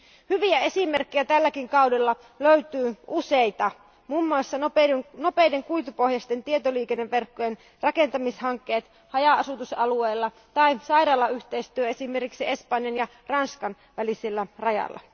Hyviä esimerkkejä tälläkin kaudella löytyy useita, muun muassa nopeiden kuitupohjaisten tietoliikenneverkkojen rakentamishankkeet haja asutusalueilla tai sairaalayhteistyö esimerkiksi Espanjan ja Ranskan välisellä rajalla.